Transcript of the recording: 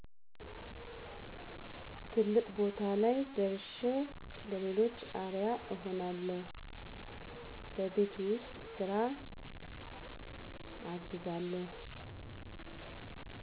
ትልቅ ቦታ ላይ ደርሸ ለሌሎች አርያ እሆናለሁ በቤት ውስጥ ስራ አግዛለሁ